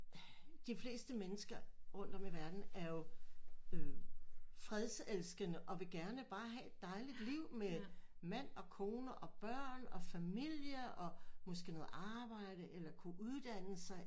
De fleste mennesker rundt om i verdenen er jo øh fredselskende og vil gerne bare have et dejligt liv med mand og kone og børn og familie og måske noget arbejde eller kunne uddanne sig